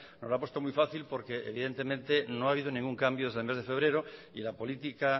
nos lo ha puesto muy fácil porque evidentemente no ha habido ningún cambio desde el mes de febrero y la política